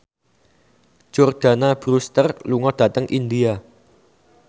Jordana Brewster lunga dhateng India